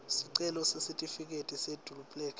sicelo sesitifiketi seduplikhethi